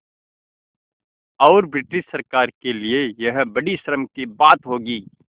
और ब्रिटिश सरकार के लिये यह बड़ी शर्म की बात होगी